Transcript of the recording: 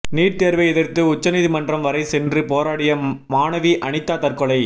NEET தேர்வை எதிர்த்து உச்சநீதிமன்றம் வரை சென்று போராடிய மாணவி அனிதா தற்கொலை